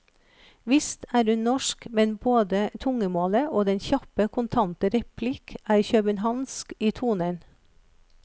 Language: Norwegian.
Visst er hun norsk, men både tungemålet og den kjappe, kontante replikk er københavnsk i tonen.